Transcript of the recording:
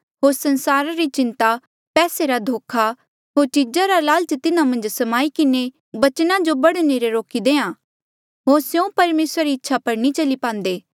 होर संसारा री चिन्ता पैसे रा धोखा होर चीजा रा लालचा तिन्हा मन्झ स्माई किन्हें बचना जो बढ़ने ले रोकी देहां होर स्यों परमेसरा री इच्छा पर नी चली पांदे